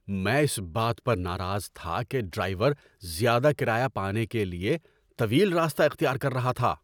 میں اس بات پر ناراض تھا کہ ڈرائیور زیادہ کرایہ پانے کے لیے طویل راستہ اختیار کر رہا تھا۔